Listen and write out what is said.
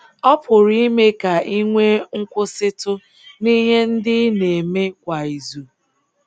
Ọ pụrụ ime ka i nwee nkwụsịtụ n’ihe ndị ị na-eme kwa izu.